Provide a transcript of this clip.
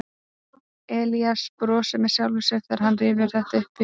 Elías brosir með sjálfum sér þegar hann rifjar þetta upp í huganum.